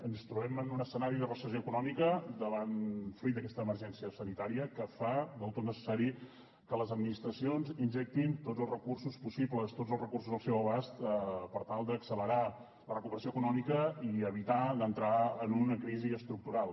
ens trobem en un escenari de recessió econòmica fruit d’aquesta emergència sanitària que fa del tot necessari que les administracions injectin tots els recursos possibles tots els recursos al seu abast per tal d’accelerar la recuperació econòmica i evitar d’entrar en una crisi estructural